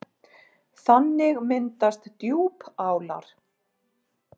Þannig myndast djúpálar.